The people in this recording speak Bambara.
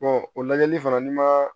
o lajɛli fana n'i ma